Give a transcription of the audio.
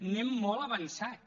anem molt avançats